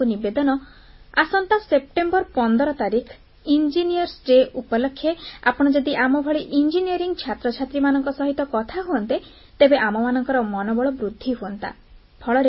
ମୋର ଆପଣଙ୍କୁ ନିବେଦନ ଆସନ୍ତା ସେପ୍ଟେମ୍ବର 15 ତାରିଖ ଇଞ୍ଜିନିୟର୍ସ ଦିବସ ଉପଲକ୍ଷେ ଆପଣ ଯଦି ଆମଭଳି ଇଞ୍ଜିନିୟରିଂ ଛାତ୍ରଛାତ୍ରୀମାନଙ୍କ ସହିତ କଥା ହୁଅନ୍ତେ ତେବେ ଆମମାନଙ୍କର ମନୋବଳ ବୃଦ୍ଧି ହୁଅନ୍ତା